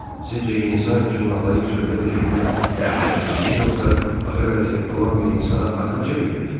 Sizcə insan üçün nalayiq sözlər eşitmək dəhşətlidir, yoxsa ağır vəziyyətdə olan bir insana arxa çevirmək?